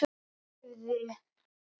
Fanginn lifði.